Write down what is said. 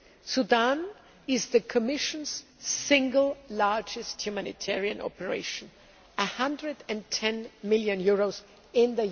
Sudan is the Commission's single largest humanitarian operation EUR 110 million in